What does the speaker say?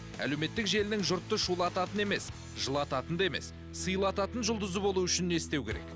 әлеуметтік желінің жұртты шулататын емес жылататын да емес сыйлататын жұлдызы болу үшін не істеу керек